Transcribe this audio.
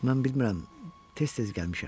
Mən bilmirəm, tez-tez gəlmişəm.